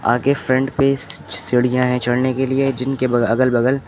आगे फ्रंट पे सीढ़िया है चढ़ने के लिए जिनके अगल बगल--